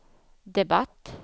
debatt